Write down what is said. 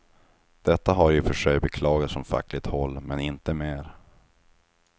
Detta har i och för sig beklagats från fackligt håll, men inte mer.